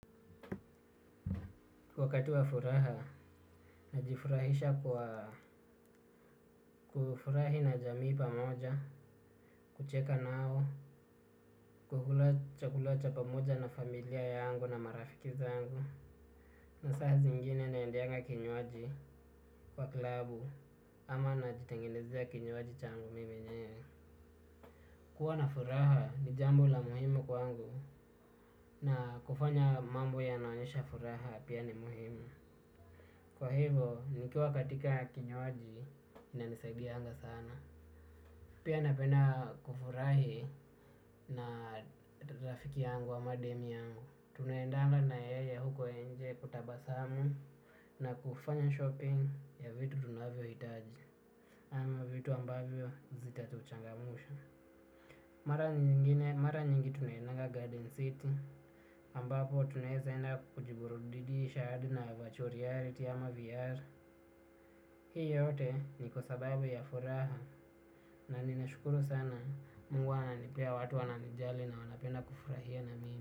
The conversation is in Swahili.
Wakati wa furaha, najifurahisha kwa kufurahi na jamii pamoja, kucheka nao, kukula chakula cha pamoja na familia yangu na marafiki zangu. Na saa zingine naendeanga kinywaji kwa klabu ama najitengenezea kinywaji changu mimi mwenyewe. Kuwa na furaha ni jambo la muhimu kwangu na kufanya mambo yanaonyesha furaha pia ni muhimu. Kwa hivo nikiwa katika kinywaji inanisaidianga sana. Pia napenda kufurahi na rafiki yangu ama demu yangu. Tunaendanga na yeye huko nje kutabasamu na kufanya shopping ya vitu tunavyohitaji. Ama vitu ambavyo zitatuchangamusha. Mara nyingi tunaendanga garden city ambapo tunaeza enda kujiburudisha hadi na virtual reality ama VR. Hii yote ni kwa sababu ya furaha na ninashukuru sana mungu ananipea watu wananijali na wanapenda kufurahia na mimi.